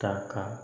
Ta ka